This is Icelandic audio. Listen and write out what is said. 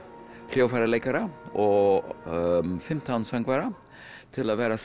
hljóðfæraleikarar og fimmtán söngvarar til að vera